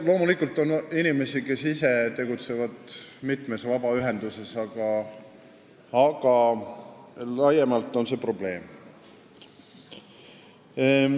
Loomulikult on inimesi, kes ise mitmes vabaühenduses tegutsevad, aga laiemalt võttes on see probleem.